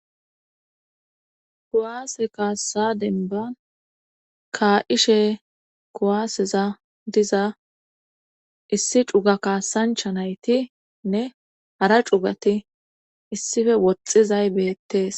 kuwaase kaassa denban kaa'ishe kowaaseza diza issi cuga kaasancha naytinne hara cugati issife woxxizay beettees